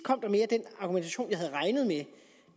den argumentation jeg havde regnet med